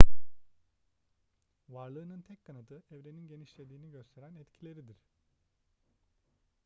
varlığının tek kanıtı evrenin genişlediğini gösteren etkileridir